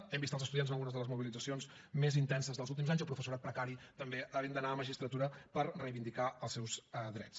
hem vist els estudiants en algunes de les mobilitzacions més intenses dels últims anys i el professorat precari també havent d’anar a magistratura per reivindicar els seus drets